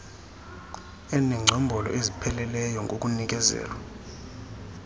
enengcombolo ezipheleleyo ngokunikezelwa